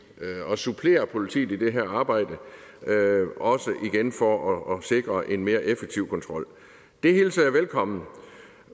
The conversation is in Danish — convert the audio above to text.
og supplerer politiet i det her arbejde også igen for at sikre en mere effektiv kontrol det hilser jeg velkommen